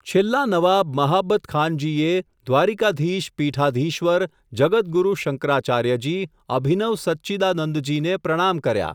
છેલ્લા નવાબ મહાબતખાનજીએ, દ્વારિકાધીશ, પીઠાધિશ્વર, જગતગુરૂ શંકરાચાર્યજી, અભિનવ સચ્ચિદાનંદજીને પ્રણામ કર્યા.